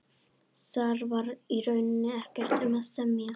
Þar var í rauninni ekkert um að semja.